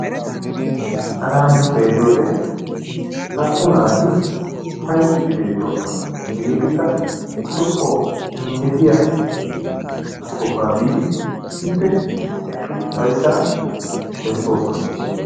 Hagan nu xeelliyoode naa''u naati uppayttiidi beettoosona. Hegetikka lo"o injjetiya sohuwa biidi isppe eqqidi upayssa bessoosona.